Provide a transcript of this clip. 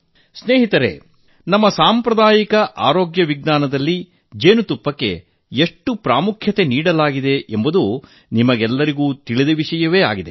ಮಿತ್ರರೇ ನಮ್ಮ ಸಾಂಪ್ರದಾಯಿಕ ಆರೋಗ್ಯ ವಿಜ್ಞಾನದಲ್ಲಿ ಜೇನುತುಪ್ಪಕ್ಕೆ ಎಷ್ಟು ಪ್ರಾಮುಖ್ಯ ನೀಡಲಾಗಿದೆ ಎಂಬುದು ನಿಮಗೆಲ್ಲರಿಗೂ ತಿಳಿದಿದೆ